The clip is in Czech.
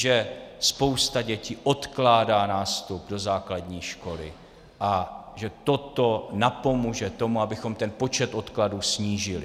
Že spousta dětí odkládá nástup do základní školy a že toto napomůže tomu, abychom ten počet odkladů snížili.